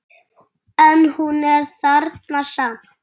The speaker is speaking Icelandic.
En hún er þarna samt.